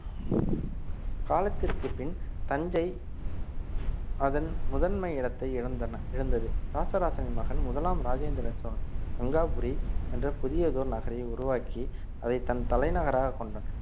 காலத்திற்கு பின் தஞ்சை அதன் முதன்மை இடத்தை இழந்தன இழந்தது இராசராசனின் மகன் முதலாம் ராஜேந்திர சோழன் கங்காபுரி என்ற புதியதோர் நகரை உருவாக்கி அதை தன் தலைநகராகக் கொண்டான்